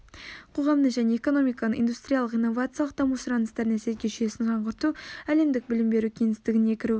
қоғамның және экономиканың индустриялық-инновациялық даму сұраныстарына сәйкес жүйесін жаңғырту әлемдік білім беру кеңістігіне кірігу